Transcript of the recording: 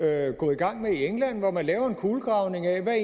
er gået i gang med i england hvor man laver en kulegravning af hvad